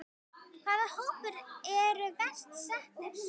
Hvaða hópar eru verst settir?